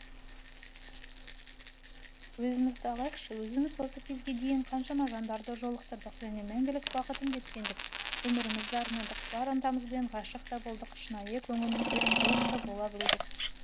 өзімізді алайықшы өзіміз осы кезге дейін қаншама жандарды жолықтырдық және мәңгілік бақтыттым деп сендік өмірімізді арнадық бар ынтамызбен ғашықта болдық шынайы көңілімізбен доста бола білдік